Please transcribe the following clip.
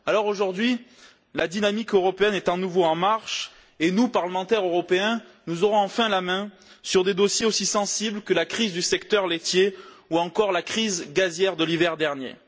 Aujourd'hui, la dynamique européenne est à nouveau en marche et nous, parlementaires européens, nous aurons enfin la main sur des dossiers aussi sensibles que la crise du secteur laitier ou encore la crise gazière de l'hiver dernier.